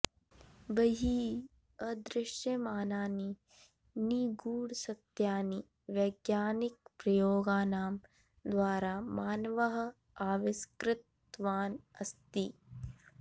बहिः अदृश्यमानानि निगूढसत्यानि वैज्ञानिकप्रयोगाणां द्वारा मानवः आविष्कृतवान् अस्ति